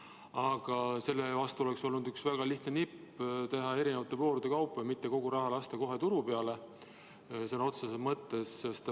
Aga selle vastu oleks olnud üks väga lihtne nipp: teha eri voorude kaupa ja mitte lasta kogu raha kohe turu peale, sõna otseses mõttes.